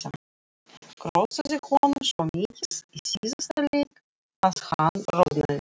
Hrósaði honum svo mikið í síðasta leik að hann roðnaði.